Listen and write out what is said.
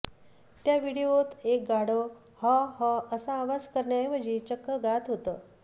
त्या व्हिडीओत एक गाढव हाँ हाँ असा आवाज करण्याऐवजी चक्क गात होतं